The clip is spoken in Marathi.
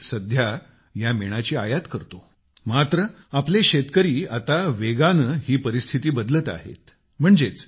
आपला देश सध्या या मेणाची आयात करतो मात्र आपले शेतकरी आता वेगाने ही परिस्थिती बदलत आहेत